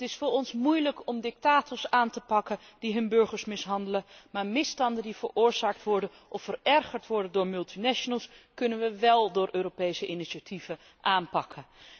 Het is voor ons moeilijk om dictators aan te pakken die hun burgers mishandelen, maar misstanden die veroorzaakt worden of verergerd worden door multinationals, kunnen we wel door Europese initiatieven aanpakken.